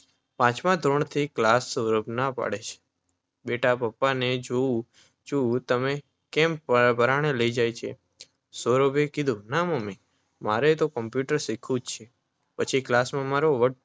પાંચમા ધોરણથી ક્લાસ? સૌરભ, ના પાડી દે બેટા પપ્પાને, જોઉં છું કેમ તને પરાણે લઈ જાય છે? સૌરભે ના મમ્મી મારે તો કોમ્પ્યુટર શીખવું જ છે. પછી ક્લાસમાં મારો વટ